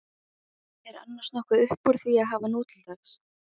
Er annars nokkuð uppúr því að hafa nútildags?